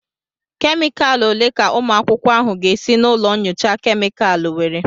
Kemikalụ ole ka ụmụ akwụkwọ ahụ ga esi na ụlọ nyocha kemịkalụ nwere?